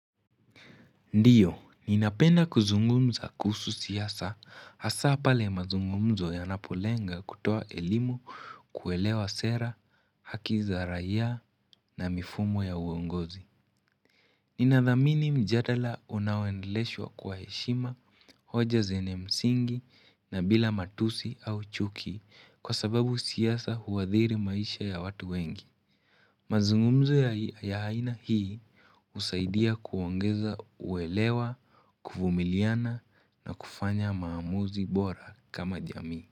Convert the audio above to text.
Ndiyo, ninapenda kuzungumza kuhusu siasa, hasa pale mazungumzo yanapolenga kutoa elimu kuelewa sera, haki za raia na mifumo ya uongozi. Ninadhamini mjadala unaoendeleshwa kwa heshima, hoja zenye msingi na bila matusi au chuki kwa sababu siasa huadhiri maisha ya watu wengi. Mazungumzo ya aina hii husaidia kuongeza uelewa, kuvumiliana na kufanya maamuzi bora kama jamii.